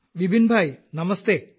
Vipinbhai നമസ്തെ